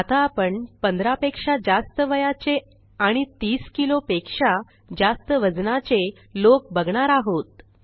आता आपण15पेक्षा जास्त वयाचे आणि 30किलो पेक्षा जास्त वजनाचे लोक बघणार आहोत